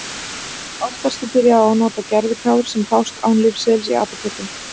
Oftast er byrjað á að nota gervitár sem fást án lyfseðils í apótekum.